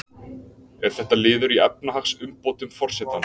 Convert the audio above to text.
Er þetta liður í efnahagsumbótum forsetans